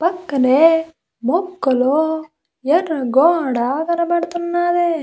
పక్కనే మొక్కలు ఎర్ర గోడా కనబడుతున్నాది.